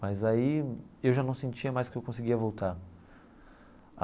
Mas aí eu já não sentia mais que eu conseguia voltar.